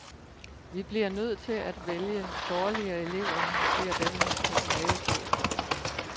Vi bliver nødt til at vælge dårligere elever, siger denne personalechef.